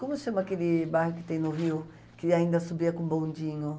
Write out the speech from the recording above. Como se chama aquele bairro que tem no Rio que ainda subia com o Bondinho?